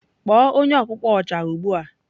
Kpọọ onye ọkpụkpọ Oja ugbu a!